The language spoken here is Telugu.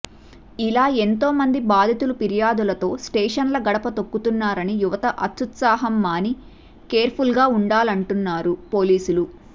ఇలా ఎంతో మంది బాధితులు ఫిర్యాదులతో స్టేషన్ల గడప తొక్కుతున్నారని యువత అత్యుత్సాహం మాని కేర్ఫుల్గా ఉండాలంటున్నారు పోలీసులు